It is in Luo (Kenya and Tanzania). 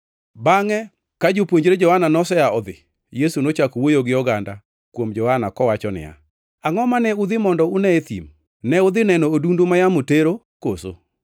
Bangʼe ka jopuonjre Johana nosea odhi, Yesu nochako wuoyo gi oganda kuom Johana kowacho niya, “Angʼo mane udhi mondo une e thim? Ne udhi neno odundu ma yamo tero koso?